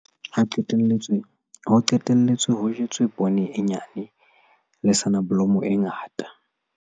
Ho qetelletse ho jetswe poone e nyane le soneblomo e ngata.